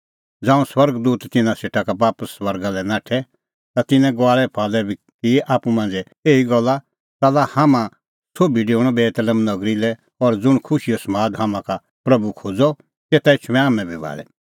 ज़ांऊं स्वर्ग दूत तिन्नां सेटा का बापस स्वर्गा लै नाठै ता तिन्नैं गुआल़ै फुआलै की आप्पू मांझ़ै एही गल्ला च़ाल्ला हाम्हां सोभी डेऊणअ बेतलेहम नगरी लै और ज़ुंण खुशीओ समाद हाम्हां का प्रभू खोज़अ तेता एछूंमै हाम्हैं भाल़ी